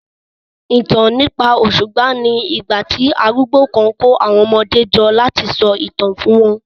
ìtàn nípa òṣùpá ní igbà tí arúgbó kán kò àwọn ọmọdé jọ lati so itan fún wọn